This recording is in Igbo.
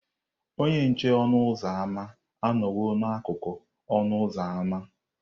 Onye nche ọnụ ụzọ ámá anọwo n'akụkụ ọnụ ụzọ ámá.